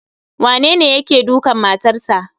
Wanene yake dukan matarsa.